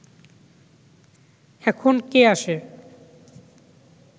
এখন কে আসে